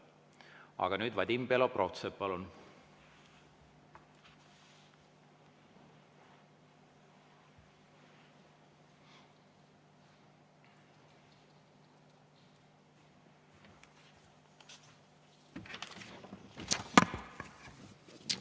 Aga nüüd, Vadim Belobrovtsev, palun!